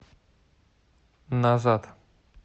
назад